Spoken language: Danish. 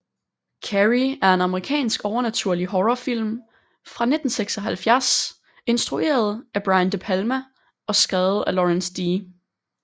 Carrie er en amerikansk overnaturlig horrorfilm fra 1976 instrueret af Brian De Palma og skrevet af Lawrence D